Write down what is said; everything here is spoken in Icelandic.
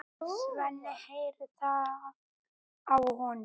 Svenni heyrir það á honum.